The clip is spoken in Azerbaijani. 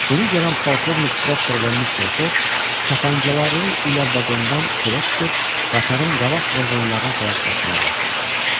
Bunu görən polkovnik Prokktör və mister Foq tapancaları ilə vaqondan çölə çıxıb qatarın qabaq vaqonlarına tərəf qaçmağa başladılar.